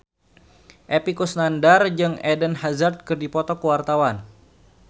Epy Kusnandar jeung Eden Hazard keur dipoto ku wartawan